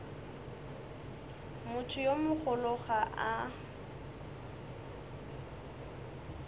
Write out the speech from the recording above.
motho yo mogolo ga a